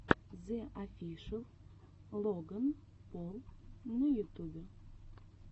зе офишэл логан пол на ютубе